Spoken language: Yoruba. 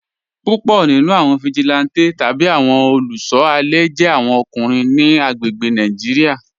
Púpọ̀ nínú awọn vigilante tabi awọn olùṣọ alẹ jẹ̀ awọn ọkùnrin ni agbègbè̀ Nàìjíríà.